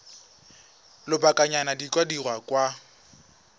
lobakanyana di ka dirwa kwa